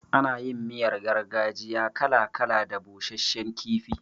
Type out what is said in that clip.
Ana yin miyar gargajiya kala kala da busashshen kifi.